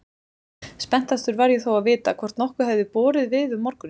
Spenntastur var ég þó að vita hvort nokkuð hefði borið við um morguninn.